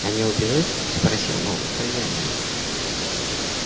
а не убежит спросил новый хозяин